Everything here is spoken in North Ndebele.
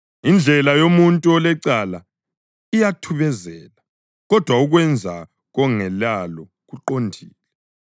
Indlela yomuntu olecala iyathubezela, kodwa ukwenza kongelalo kuqondile.